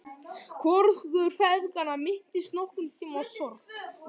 Hvorugur feðganna minntist nokkurn tímann á sorg.